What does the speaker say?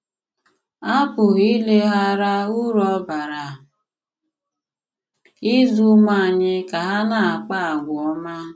À pụghị ìlèghàrà ùrú ọ bàrà ịzụ̀ ùmụ̀ ànyị̀ ka hà na-àkpà àgwà òmá.